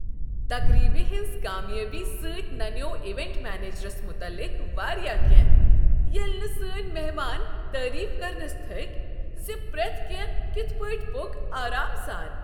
تقریبہ ہنز کامیٲبی سۭتۍ ننیوو ایونٹ منیجرس متعلق واریاہ کینٛہہ ییٚلہ نہٕ سٲنۍ مہمان تعریف کرنس تھکۍ ز پریتھ کیٚنٛہہ کتھ پٲٹھۍ پوٚک آرام سان۔